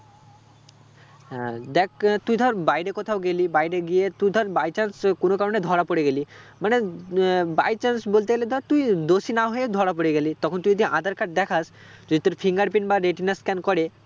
হ্যাঁ দেখ আহ তুই ধর বাইরে কোথাও গেলি বাইরে কোথাও গিয়ে তুই ধর by chance আহ কোনো কারণে ধরা পরে গেলি মানে উম আহ by chance বলতে গেলে ধর তুই দোষী না হয়ে ধরা পরে গেলি তখন তুই যদি আঁধার card দেখাস যদি তোর fingerprint বা retina scan করে